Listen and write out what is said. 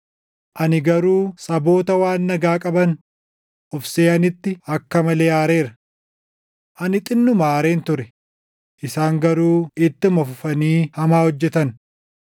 ani garuu saboota waan nagaa qaban of seʼanitti akka malee aareera. Ani xinnuma aareen ture; isaan garuu ittuma fufanii hamaa hojjetan.’